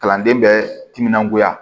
Kalanden bɛ timinangoya